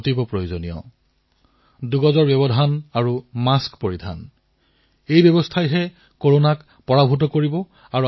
corona তেতিয়াহে হাৰিব যেতিয়া আপোনালোক সুৰক্ষিত হৈ থাকিব যেতিয়া আপোনালোকে দুই গজৰ দুৰত্ব পালন কৰিব মাস্ক পৰিধান কৰিব